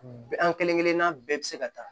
An kelenkelenna bɛɛ bi se ka taa